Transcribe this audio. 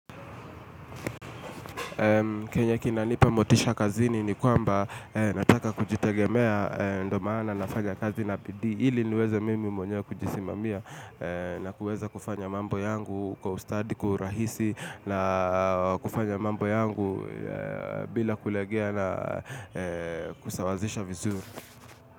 Kenye kina nipa motisha kazini ni kwamba nataka kujitegemea ndo maana nafanya kazi na bidii ili niweze mimi mwenyewe kujisimamia na kuweza kufanya mambo yangu kwa ustadi kwa urahisi na kufanya mambo yangu bila kuregea na kusawazisha vizuri.